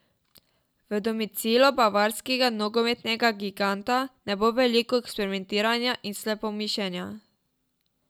V domicilu bavarskega nogometnega giganta ne bo veliko eksperimentiranja in slepomišenja.